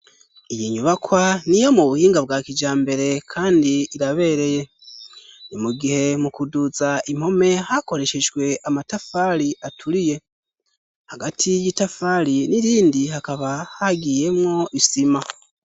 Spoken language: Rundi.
Iyi nyubakwa ni yo mu buhinga bwa kija mbere, kandi irabereye ni mu gihe mu kuduza impome hakoreshejhwe amatafali aturiye hagati y'itafali n'irindi hakaba hagiyemwo isima.